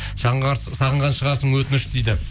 сағынған шығарсың өтініш дейді